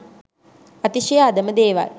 අතිශය අධම දේවල්